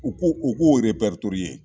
U ko u k'o